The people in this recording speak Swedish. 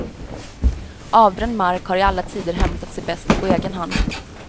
Avbränd mark har i alla tider hämtat sig bäst på egen hand.